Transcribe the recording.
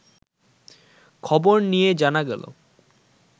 খবর নিয়ে জানা গেল